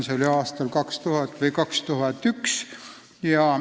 See oli aastal 2000 või 2001.